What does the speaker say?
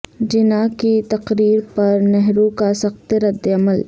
جناح کی تقریر پر نہرو کا سخت رد عمل